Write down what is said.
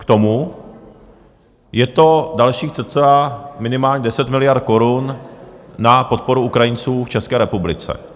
K tomu je to dalších cca minimálně 10 miliard korun na podporu Ukrajinců v České republice.